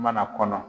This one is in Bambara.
Mana kɔnɔ